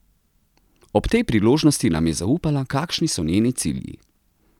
Ob tej priložnosti nam je zaupala, kakšni so njeni cilji.